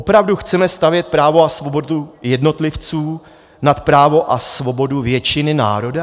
Opravdu chceme stavět právo a svobodu jednotlivců nad právo a svobodu většiny národa?